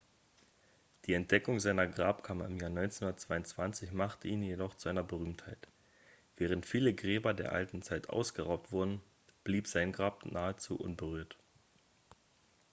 die entdeckung seiner grabkammer im jahr 1922 machte ihn jedoch zu einer berühmtheit während viele gräber der alten zeit ausgeraubt wurden blieb sein grab nahezu unberührt